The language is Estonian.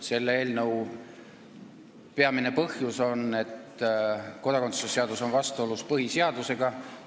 Selle peamine põhjus on, et kodakondsuse seadus on vastuolus põhiseadusega.